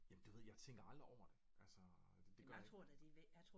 Jamen du ved jeg tænker aldrig over det altså det gør jeg ikke